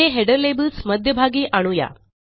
पुढे header labels मध्यभागी आणू या